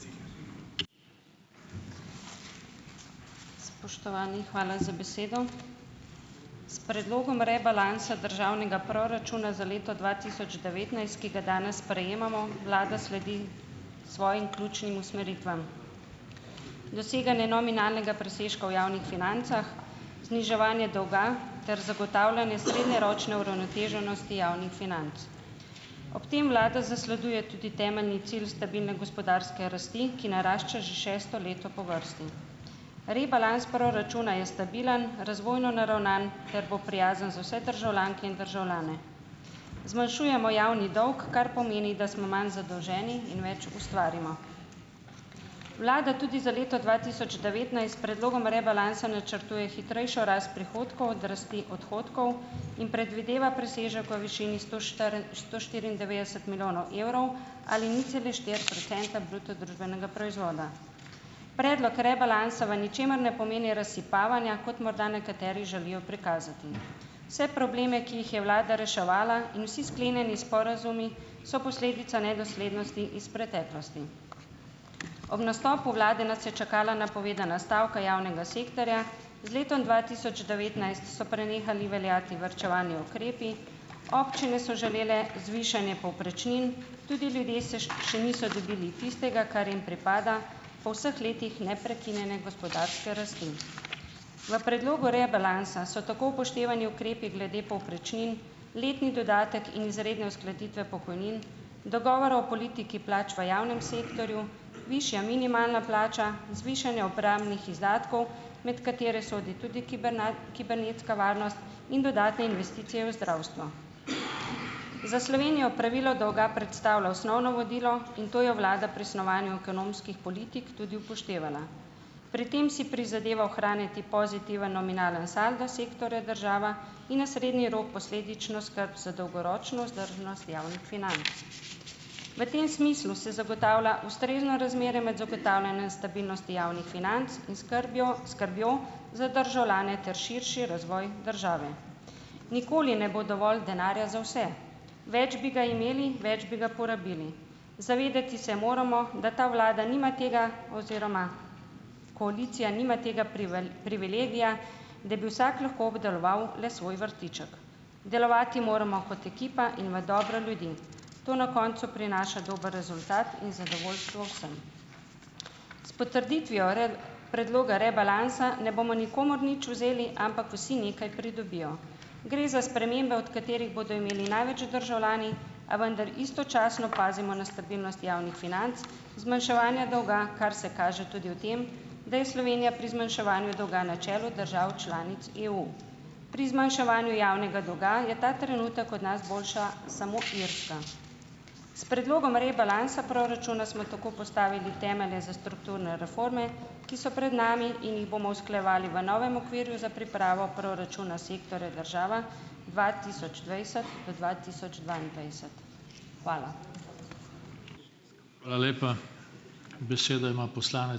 Spoštovani, hvala za besedo. S Predlogom rebalansa državnega proračuna za leto dva tisoč devetnajst, ki ga danes sprejemamo, vlada sledi svojim ključnim usmeritvam: doseganje nominalnega presežka v javnih financah, zniževanje dolga ter zagotavljanje srednjeročne uravnoteženosti javnih financ. Ob tem vlada zasleduje tudi temeljni cilj stabilne gospodarske rasti, ki narašča že šesto leto po vrsti. Rebalans proračuna je stabilen, razvojno naravnan ter bo prijazen za vse državljanke in državljane. Zmanjšujemo javni dolg, kar pomeni, da smo manj zadolženi in več ustvarimo. Vlada tudi za leto dva tisoč devetnajst s predlogom rebalansa načrtuje hitrejšo rast prihodkov od rasti odhodkov in predvideva presežek v višini sto sto štiriindevetdeset milijonov evrov ali nič cele štiri procenta bruto družbenega proizvoda. Predlog rebalansa v ničemer ne pomeni razsipavanja, kot morda nekateri želijo prikazati. Vse probleme, ki jih je vlada reševala, in vsi sklenjeni sporazumi, so posledica nedoslednosti iz preteklosti. Ob nastopu vlade nas je čakala napovedana stavka javnega sektorja, z letom dva tisoč devetnajst so prenehali veljati varčevalni ukrepi, občine so želele zvišanje povprečnin, tudi ljudje se še niso dobili tistega , kar jim pripada po vseh letih neprekinjene gospodarske rasti. V predlogu rebalansa so tako upoštevani ukrepi glede povprečnin, letni dodatek in izredne uskladitve pokojnin, dogovorov o politiki plač v javnem sektorju, višja minimalna plača, zvišanje obrambnih izdatkov, med katere sodi tudi kibernetska varnost in dodatne investicije v zdravstvo. Za Slovenijo pravilo dolga predstavlja osnovno vodilo in to je vlada pri snovanju ekonomskih politik tudi upoštevala. Pri tem si prizadeva ohranjati pozitiven nominalni saldo sektorja država in na srednji rok posledično skrb za dolgoročno vzdržnost javnih financ. V tem smislu se zagotavlja ustrezno razmerje med zagotavljanjem stabilnosti javnih financ in skrbjo skrbjo za državljane ter širši razvoj države. Nikoli ne bo dovolj denarja za vse, več bi ga imeli, več bi ga porabili. Se moramo zavedati, da ta vlada nima tega oziroma koalicija nima tega privilegija, da bi vsak lahko obdeloval le svoj vrtiček. Delovati moramo kot ekipa in v dobro ljudi, to na koncu prinaša dober rezultat in zadovoljstvo vsem. S potrditvijo predloga rebalansa ne bomo nikomur nič vzeli, ampak vsi nekaj pridobijo. Gre za spremembe, od katerih bodo imeli največ državljani, a vendar istočasno pazimo na stabilnost javnih financ, zmanjševanje dolga, kar se kaže tudi v tem, da je Slovenija pri zmanjševanju dolga na čelu držav članic EU, pri zmanjševanju javnega dolga je ta trenutek od nas boljša samo Irska. S predlogom rebalansa proračuna smo tako postavili temelje za strukturne reforme, ki so pred nami in jih bomo usklajevali v novem okvirju za pripravo proračuna sektorja država dva tisoč dvajset do dva tisoč dvaindvajset. Hvala. Hvala lepa. Besedo ima ...